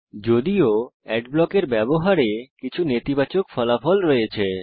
যদিও অ্যাড ব্লকের ব্যবহারে কিছু নেতিবাচক ফলাফল রয়েছে